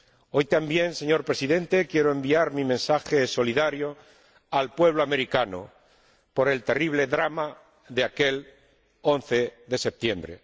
Hoy también, señor Presidente, quiero enviar mi mensaje solidario al pueblo americano por el terrible drama de aquel 11 de septiembre.